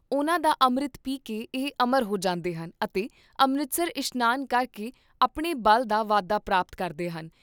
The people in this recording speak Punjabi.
ਉਹਨਾਂ ਦਾ ਅੰਮ੍ਰਿਤ ਪੀ ਕੇ ਇਹ ਅਮਰ ਹੋ ਜਾਂਦੇ ਹਨ ਅਤੇ ਅੰਮ੍ਰਿਤਸਰ ਇਸ਼ਨਾਨ ਕਰਕੇ ਆਪਣੇ ਬਲ ਦਾ ਵਾਧਾ ਪ੍ਰਾਪਤ ਕਰਦੇ ਹਨ।